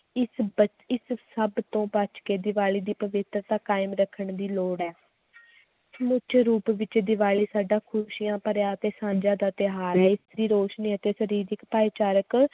ਇਸ ਬ~ ਇਸ ਸਭ ਤੋਂ ਬਚਕੇ ਦੀਵਾਲੀ ਦੀ ਪਵਿਤਰਤਾ ਕਾਇਮ ਰੱਖਣ ਦੀ ਲੋੜ ਹੈ ਸਮੁੱਚੇ ਰੂਪ ਵਿੱਚ ਦੀਵਾਲੀ ਸਾਡਾ ਖ਼ੁਸ਼ੀਆਂ ਭਰਿਆ ਤੇ ਸਾਂਝਾਂ ਦਾ ਤਿਉਹਾਰ ਹੈ l ਇਸ ਦੀ ਰੋਸ਼ਨੀ ਅਤੇ ਸਰੀਰਕ ਭਾਈਚਾਰਕ